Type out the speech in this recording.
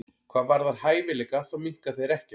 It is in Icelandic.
Hvað varðar hæfileika þá minnka þeir ekkert.